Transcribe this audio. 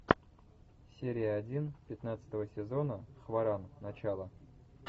серия один пятнадцатого сезона хваран начало